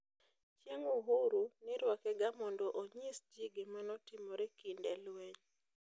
"Chieng uhuru nirwakega mondo onyisji gimanotimore kinde lweny.